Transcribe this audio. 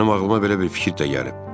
Mənim ağlıma belə bir fikir də gəlib.